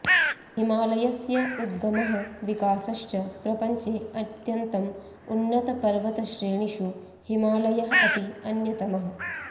हिमालयस्य उगमः विकासश्च प्रपञ्चे अत्यन्तम् उन्नतपर्वतश्रेणिषु हिमालयः अपि अन्यतमः